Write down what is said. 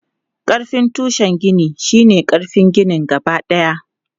Ƙarfin tushen gini shi ne ƙarfin ginin gabadaya.